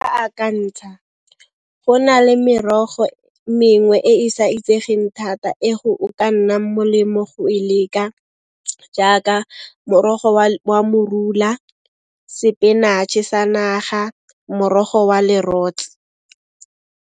Nka akantsha. Go na le merogo mengwe e e sa itsegeng thata, e go o ka nnang molemo go e leka jaaka morogo wa morula, sepenatšhe sa naga, morogo wa lerotse.